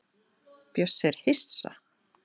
Bjössi er hissa.